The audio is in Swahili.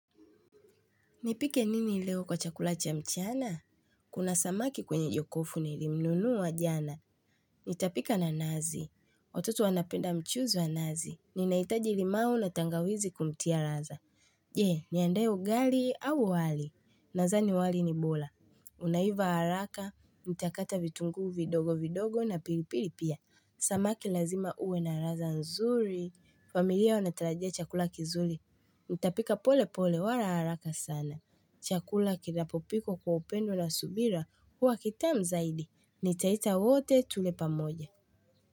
Nipike nini leo kwa chakula cha mchana? Kuna samaki kwenye jokofu nilimnunua jana. Nitapika na nazi. Watoto wanapenda mchuzi wa nazi. Ninahitaji limau na tangawizi kumtia raza. Je, niandae ugali au wali. Nazani wali ni bola. Unaiva haraka. Nitakata vitunguu vidogo vidogo na piripiri pia. Samaki lazima uwe na raza nzuri. Familia wanatarajia chakula kizuli. Nitapika pole pole wala haraka sana. Chakula kinapopikwo kwa upendo na subira huwa kitamu zaidi, nitaita wote tule pamoja.